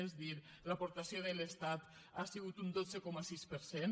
és a dir l’aportació de l’estat ha sigut un dotze coma sis per cent